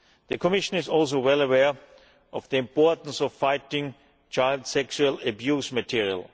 The Commission is also well aware of the importance of fighting child sexual abuse material.